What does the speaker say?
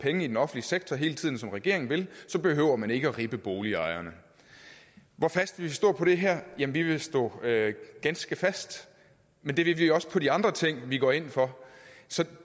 penge i den offentlige sektor hele tiden som regeringen vil så behøver man ikke at ribbe boligejerne hvor fast vi vil stå på det her jamen vi vil stå ganske fast men det vil vi også på de andre ting vi går ind for så